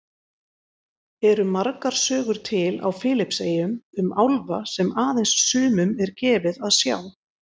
Eru margar sögur til á Filippseyjum um álfa sem aðeins sumum er gefið að sjá?